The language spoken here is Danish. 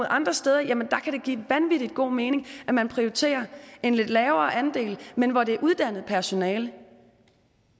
andre steder kan give vanvittig god mening at man prioriterer en lidt lavere andel men hvor det er uddannet personale